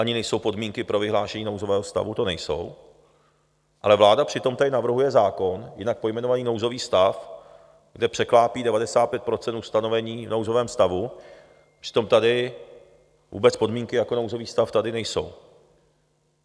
ani nejsou podmínky pro vyhlášení nouzového stavu tu nejsou, ale vláda přitom tady navrhuje zákon jinak pojmenovaný nouzový stav, kde překlápí 95 % ustanovení v nouzovém stavu, přitom tady vůbec podmínky jako nouzový stav tady nejsou.